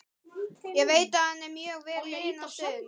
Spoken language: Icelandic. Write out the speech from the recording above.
Ég veit að hann er mjög vel liðinn á stöðinni.